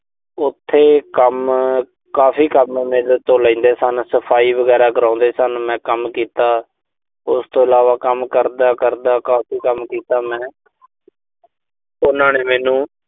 ਉਥੇ ਕੰਮ, ਕਾਫ਼ੀ ਕੰਮ ਮੇਰੇ ਤੋਂ ਲੈਂਦੇ ਸਨ। ਸਫ਼ਾਈ ਵਗੈਰਾ ਕਰਾਉਂਦੇ ਸਨ। ਮੈਂ ਕੰਮ ਕੀਤਾ। ਉਸ ਤੋਂ ਇਲਾਵਾ ਕੰਮ ਕਰਦਾ-ਕਰਦਾ ਕਾਫ਼ੀ ਕੰਮ ਕੀਤਾ ਮੈਂ ਤੇ ਉਨ੍ਹਾਂ ਨੇ ਮੈਨੂੰ